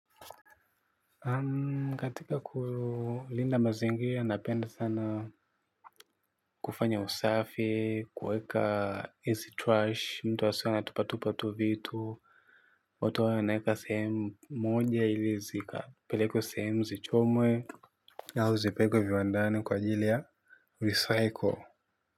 Katika kulinda mazingira napenda sana kufanya usafi kuweka hizi trash mtu asiwe anatupatupa tu vitu watu wawe wanaeka sehemu moja ili zikapelekwe sehemu zichomwe au zipelekwe viwandani kwa ajili ya recycle.